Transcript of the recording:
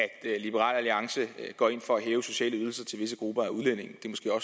liberal alliance går ind for at hæve de sociale ydelser til visse grupper af udlændinge